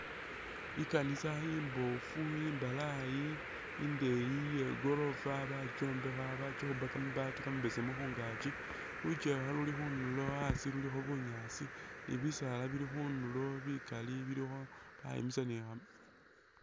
I'kaanisa imbofu imbalayi indeyi iye'goorofa bakyombekha bakyikhupa kamabaati kamabesemu khungaakyi lukyewa luli khundulo asi lulikho bunyaasi ni bisaala bili khundulo bikaali bilikho bayimisa ...